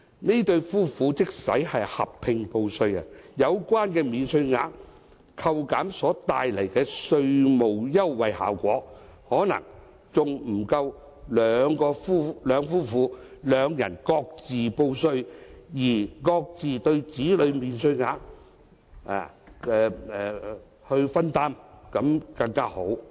這對夫婦即使合併報稅，有關免稅額扣減所帶來的稅務優惠效果，可能還不及夫婦兩人各自報稅、平分子女免稅額的效果為好。